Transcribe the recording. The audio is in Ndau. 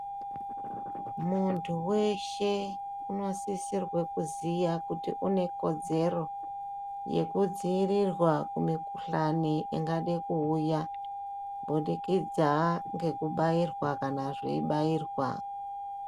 Muntu weshe unosisirwe kuziya kuti une kodzero yekudziirirwa kumikuhlani ingade kuuya, kubudikidza ngekubairwa kana zveibairwa.